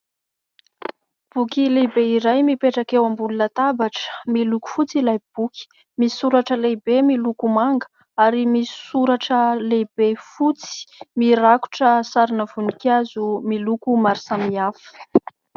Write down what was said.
Boky lehibe iray mipetraka eo ambony latabatra miloko fotsy ilay boky misy soratra lehibe miloko manga ary misy soratra lehibe fotsy mirakotra sarina voninkazo miloko maro samihafa.